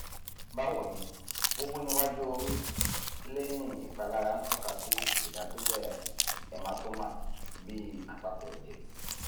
bawo ni wuwu niwaju ori leyin ipalara n toka si idasile hematoma bi apapo eje